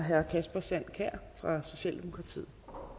herre kasper sand kjær fra socialdemokratiet